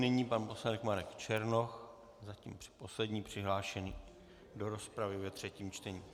Nyní pan poslanec Marek Černoch, zatím poslední přihlášený do rozpravy ve třetím čtení.